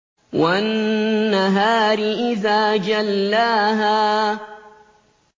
وَالنَّهَارِ إِذَا جَلَّاهَا